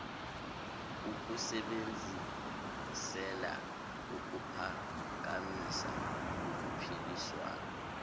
ukusebenzisela ukuphakamisa uphiliswano